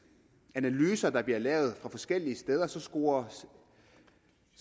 analyser der bliver lavet forskellige steder scorer